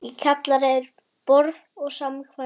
Í kjallara er: borð- og samkvæmissalur